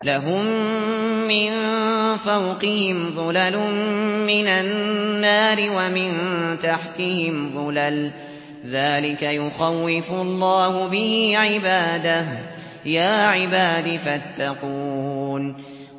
لَهُم مِّن فَوْقِهِمْ ظُلَلٌ مِّنَ النَّارِ وَمِن تَحْتِهِمْ ظُلَلٌ ۚ ذَٰلِكَ يُخَوِّفُ اللَّهُ بِهِ عِبَادَهُ ۚ يَا عِبَادِ فَاتَّقُونِ